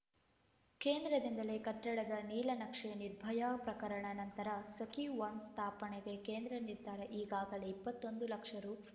ಕೇಂದ್ರದಿಂದಲೇ ಕಟ್ಟಡದ ನೀಲನಕ್ಷೆ ನಿರ್ಭಯಾ ಪ್ರಕರಣ ನಂತರ ಸಖೀ ಒನ್ಸ್‌ ಸ್ಥಾಪನೆಗೆ ಕೇಂದ್ರ ನಿರ್ಧಾರ ಈಗಾಗಲೇ ಇಪ್ಪತ್ತೊಂದು ಲಕ್ಷ ರು